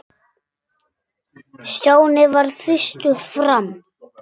Stjáni varð fyrstur fram.